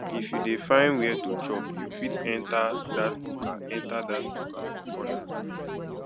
if you dey find where to chop you fit enter dat buka enter dat buka for corner